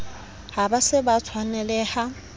ha ba se ba tshwanelaha